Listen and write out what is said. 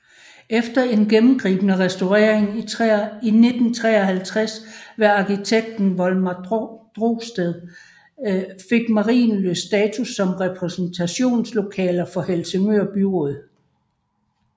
Efter en gennemgribende restaurering i 1953 ved arkitekt Volmar Drosted fik Marienlyst status som repræsentationslokaler for Helsingør Byråd